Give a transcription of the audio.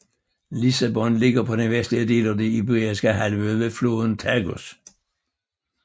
Lissabon ligger på den vestlige del af Den Iberiske Halvø ved floden Tagus